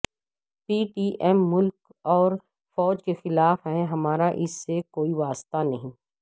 پی T M ملک اور فوج کے خلاف ہے ہمارااس سے کوئی واسطہ نہیں